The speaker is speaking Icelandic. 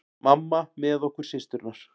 Mamma með okkur systurnar.